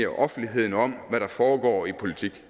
offentligheden om hvad der foregår i politik